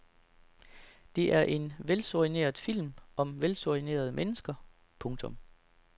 Det er en velsoigneret film om velsoignerede mennesker. punktum